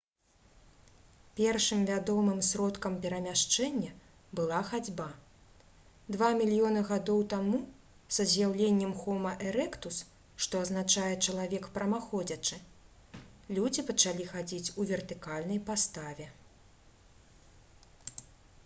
першым вядомым сродкам перамяшчэння была хадзьба. два мільёны гадоў таму са з'яўленнем хома эрэктус што азначае «чалавек прамаходзячы» людзі пачалі хадзіць у вертыкальнай паставе